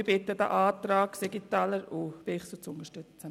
Ich bitte Sie, den Antrag Siegenthaler/Bichsel zu unterstützen.